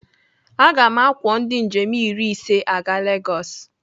Aga m akwọ ndị njem iri ise aga Legosi.